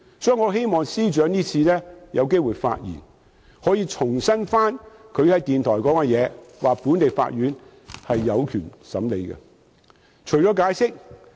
所以，我希望司長今天發言時重申他在電台的說話，即本地法院將有權審理。